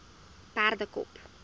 perdekop